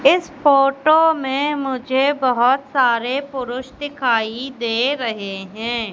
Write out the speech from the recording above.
इस फोटो मे मुझे बहोत सारे पुरुष दिखाई दे रहे है।